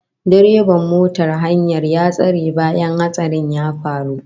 Direban motar hayar ya tsere bayan hatsarin ya faru